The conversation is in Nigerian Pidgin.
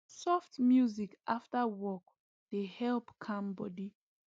soft music after work dey help calm body